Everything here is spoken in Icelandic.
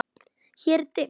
Hér er dimmt.